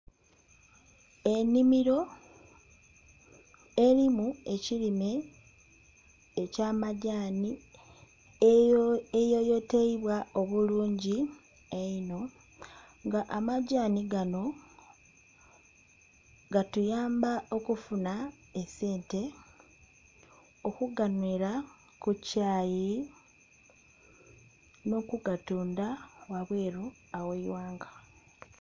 Ennhimiro erimu ekirime eky'amagyani eyoyoteibwa obulungi einho, nga amagyani gano gatuyamba okufuna esente, okuganhwera ku kyayi n'okugatunda ghabweru ogh'eighanga.